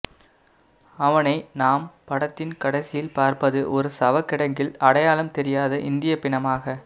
அவனை நாம் படத்தின் கடைசியில் பார்ப்பது ஒரு சவக்கிடங்கில் அடையாளம் தெரியாத இந்திய பிணமாக